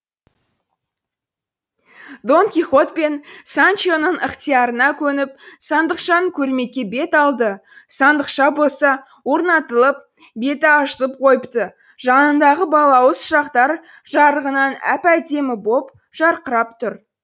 дон кихот пен санчо оның ықтиярына көніп сандықшаны көрмекке бет алды сандықша болса орнатылып беті ашылып қойыпты жанындағы балауыз шырақтар жарығынан әп әдемі боп жарқырап тұр